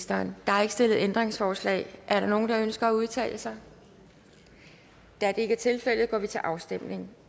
der er ikke stillet ændringsforslag er der nogen der ønsker at udtale sig da det ikke er tilfældet går vi til afstemning